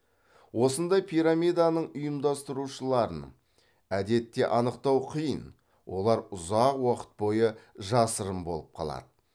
осындай пирамиданың ұйымдастырушыларын әдетте анықтау қиын олар ұзақ уақыт бойы жасырын болып қалады